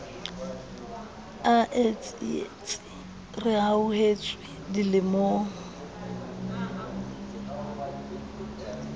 a e sietseng rehauhetswe dilemong